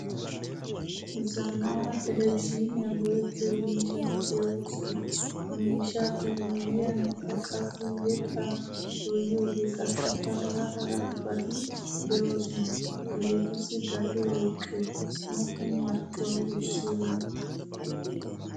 Zammaana televzhiniyan go'ettiyo miishshati deosona. Ha miishshappe miyiyankka qassi yetta doyiyoge qassikka hara hara bati deosona. Hageetussi gatees woqqe? Appun marccuwa wurssiyona?